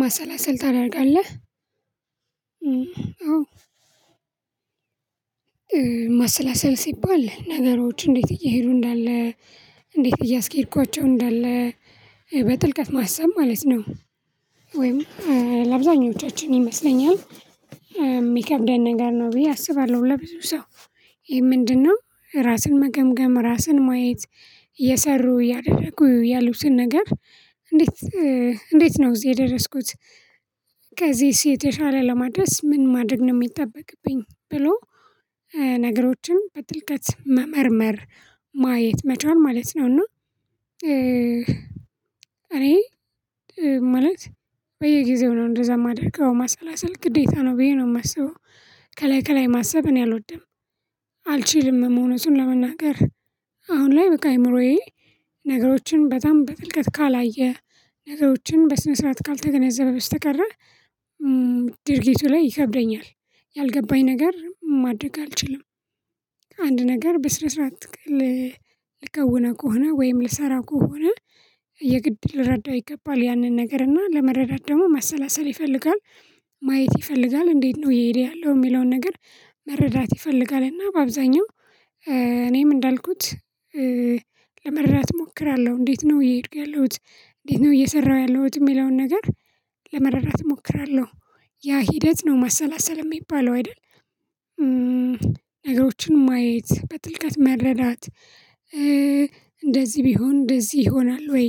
ማሰላሰል ታደርጋለህ? እም አዎ። ማሰላሰል ሲባል ነገሮች እንዴት እየሄዱ እንዳለ እንዴት እያስኬድኳቸው እንዳለ በጥልቀት ማሰብ ማለት ነው። ወይም ለአብዛኞቻችን ይመስለኛል። ሚከብደን ነገር ነው ብዬ አስባለሁ። ለብዙ ሰው ይሄ ምንድነው ራስን መገምገም ራስን ማየት እየሰሩ እያደረጉ ያሉትን ነገር እንዴት እንዴት ነው እዚህ የደረስኩት? ከዚስ የተሻለ ለማድረስ ምን ማድረግ ነው ሚጠበቅብኝ። ብሎ እ ነገሮ በጥልቀት መመርመር ማየት መቻል ማለት ነው። እና እኔ ማለት በየጊዜው ነው እንደዛ ማደርገው ማሰላሰል ግዴታ ነው ብዬ ነው ማስበው። ከላይ ከላይ ማሰብ እኔ አልወድም። አልችልምም እውነቱን ለመናገር አሁን ላይ በቃ አእምሮዬ ነገሮችን በጣም በጥልቀት ካላየ ነገሮችን በስነ ስርዓት ካልተገነዘበ በስተቀረ። ድርጊቱ ላይ ይከብደኛል። ያልገባኝ ነገር ማድረግ አልችልም። አንድ ነገር በስነ ስርዓት ክል ልከውነው ከሆነ ወይም ልሰራ ከሆነ የግድ ልረዳው ይገባል ያንን ነገር እና ለመረዳት ደግሞ ማሰላሰል ይፈልጋል። ማየት ይፈልጋል እንዴት ነው እየሄደ ያለው ሚለውን ነገር መረዳት ይፈልጋል። እና በአብዛኛው እኔም እንዳልኩት ለመረዳት እሞክራለሁ እንዴት ነው እየሄድኩ ያለሁት እንዴት ነው እየሰራሁ ያለሁት የሚለውን ነገር ለመረዳት እሞክራለሁ። ያ ሂደት ነው ማሰላሰል ሚባለው አይደል? ነገሮችን ማየት በጥልቀት መረዳት። እንደዚህ ቢሆን እንደዚህ ይሆናል ወይ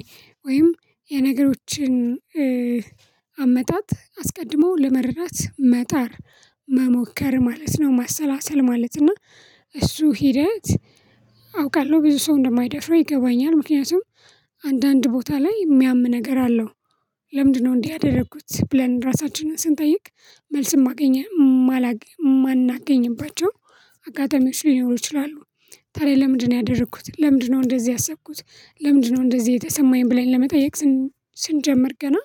ወይም የነገሮችን አመጣጥ አስቀድሞ ለመረዳት መጣር መሞከር ማለት ነው። ማሰላሰል ማለት እና እሱ ሂደት አውቃለሁ ብዙ ሰው እንደማይደፍረው ይገባኛል። ምክንያቱም አንዳንድ ቦታ ላይ እሚያም ነገር አለው። ለምንድነው እንዲህ ያደረኩት ብለን ራሳችንን ስንጠይቅ። መልስ ማገኝ ማላግ ማናገኝባቸው አጋጣሚዎች ሊኖሩ ይችላሉ። ታዲያ ለምንድነው ያደረኩት ለምንድነው እንደዚህ ያሰብኩት ለምንድነው እንደዚህ የተሰማኝ ብለን ለመጠየቅ። ስንጀምር ገና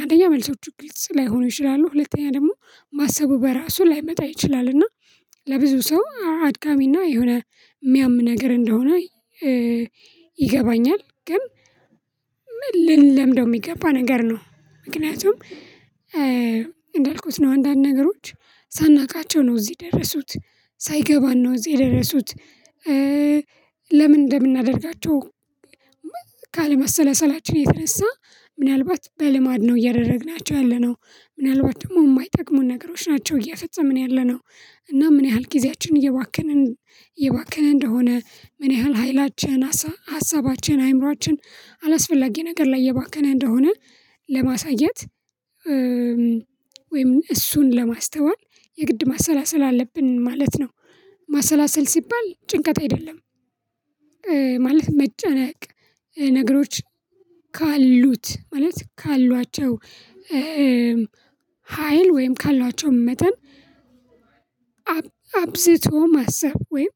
አንደኛ መልሶቹ ግልጽ ላይሆኑ ይችላሉ። ሁለተኛ ደግሞ ማሰቡ በራሱ ላይመጣ ይችላል። እና ለብዙ ሰው አድካሚና የሆነ ሚያም ነገር እንደሆነ። ይገባኛል ግን ምን ልንለምደው ሚገባ ነገር ነው። ምክንያቱም እንዳልኩት ነው አንዳንድ ነገሮች ሳናውቃቸው ነው እዚህ ደረሱት ሳይገባን ነው እዚህ የደረሱት። ለምን እንደምናደርጋቸው ካለማሰላሰላችን የተነሳ ምናልባት በልማድ ነው እያደረግናቸው ያለነው። ምናልባት ደግሞ ማይጠቅሙን ነገሮች ናቸው እየፈጸመን ያለነው። እና ምን ያህል ጊዜያችንን እየባከንን እየባከነ እንደሆነ ምን ያህል ሀይላችን ሀሳ ሀሳባችን አይምሮአችን አላስፈላጊ ነገር ላይ እየባከነ እንደሆነ። ለማሳየት ወይም እሱን ለማስተዋል የግድ ማሰላሰል አለብን ማለት ነው። ማሰላሰል ሲባል ጭንቀት አይደለም። ማለት መጨነቅ ነገሮች ካሉት ማለት ካሏቸው። ሀይል ወይም ካሏቸው መጠን። አብዝቶ ማሰብ ወይም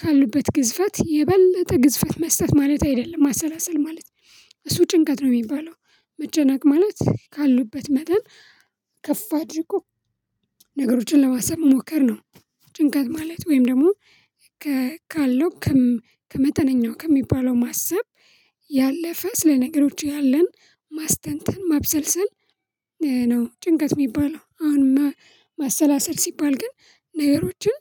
ካሉበት ግዝፈት የበለጠ ግዝፈት መስጠት ማለት አይደለም። ማሰላሰል ማለት እሱ ጭንቀት ነው ሚባለው። መጨነቅ ማለት ካሉበት መጠን ከፍ አድርጎ ነገሮችን ለማሰብ መሞከር ነው። ጭንቀት ማለት ወይም ደግሞ ካለው ከመጠነኛው ከሚባለው ማሰብ ያለፈ ስለ ነገሮች ያለን ማስተንተን ማብሰልሰል ነው። ጭንቀት ሚባለው አሁንማ ማሰላሰል ሲባል ግን ነገሮችን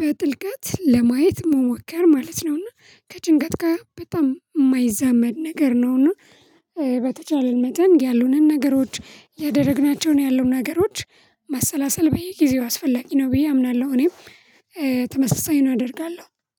በጥልቀት ለማየት መሞከር ማለት ነውና። ከጭንቀት ጋር በጣም ማይዛመድ ነገር ነውና። መጠን ያሉንን ነገሮች ያደረግናቸውን ያሉን ነገሮች መሰላሰል በየጊዜው አስፈላጊ ነው ብዬ አምናለሁ። እኔም ተመሳሳዩን አደርጋለሁ።